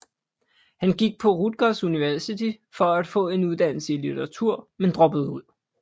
Han gik på Rutgers University for at få en uddannelse i literatur men droppede ud